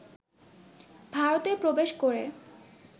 ভারতে প্রবেশ করে